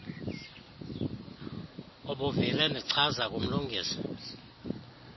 ubuvile ndichaza kumlungisi